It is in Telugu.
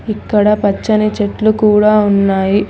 ఇక్కడ పచ్చని చెట్లు కూడా ఉన్నాయి.